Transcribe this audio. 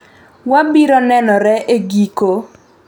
Wabiro nenore e giko